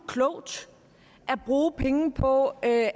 klogt at bruge penge på at